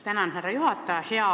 Tänan, härra juhataja!